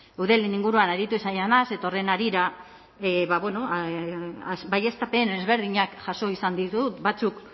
eudelen inguruan aritu izan naiz eta horren harira baieztapena ezberdinak jaso izan ditut batzuk